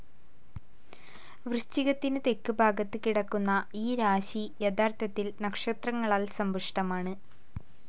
വൃശ്ചികത്തിനു തെക്ക് ഭാഗത്ത് കിടക്കുന്ന ഈ രാശി യഥാർഥത്തിൽ നക്ഷത്രങ്ങളാൽ സമ്പുഷ്ടമാണ്.